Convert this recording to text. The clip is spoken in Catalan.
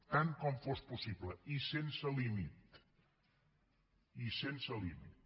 tant com fos possible i sense límit i sense límit